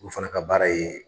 O fana ka baara ye.